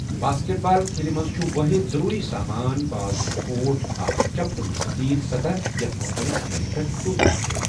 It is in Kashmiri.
باسکٹ بال کھیلہِ منٛز چھُ وٲحد ضروری سامان بال تہٕ کورٹ اکھ چَپٹہٕ، مُستَتیٖل سَطَح یتھ مُخٲلِف انٛدَن پٮ۪ٹھ ٹوٗکرِ چھِ۔